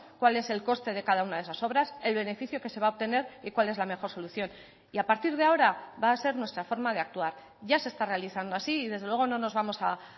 cuál es el coste de cada una de esas obras el beneficio que se va a obtener y cuál es la mejor solución y a partir de ahora va a ser nuestra forma de actuar ya se está realizando así y desde luego no nos vamos a